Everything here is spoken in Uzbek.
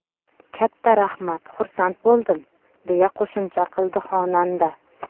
Katta rahmat, xursand bo‘ldim”, deya qo‘shimcha qildi xonanda.